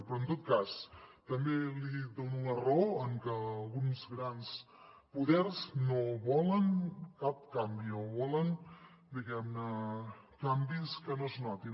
però en tot cas també li dono la raó en que alguns grans poders no volen cap canvi o volen diguem ne canvis que no es notin